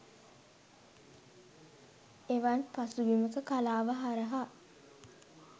එවන් පසුබිමක කලාව හරහා